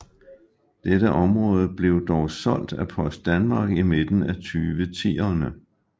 Dette område blev dog solgt af Post Danmark i midten af 2010erne